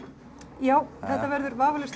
já þetta verður vafalaust